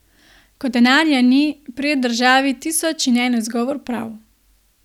Ko denarja ni, pride državi tisoč in en izgovor prav...